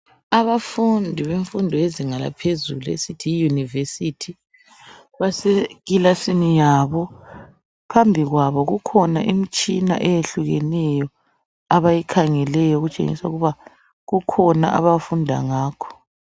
Abafundi bemfundo yezinga laphezulu esithi yi university base kilasini yabo phambikwabo kukhona imtshina eyehlukeneyo abayikhangeleyo okutshengisa ukuba kukhona abafunda ngakho